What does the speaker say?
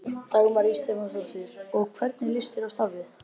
Dagmar Ýr Stefánsdóttir: Og hvernig líst þér á starfið?